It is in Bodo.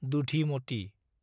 दुधिमती